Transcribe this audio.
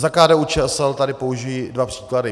Za KDU-ČSL tady použiji dva příklady.